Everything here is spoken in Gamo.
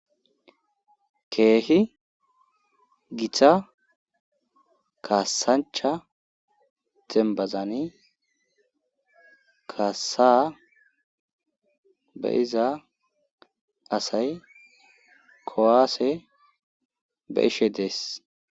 keehi gita kaasancha dembazani kaasaa be iza asay kowaase be ishe dees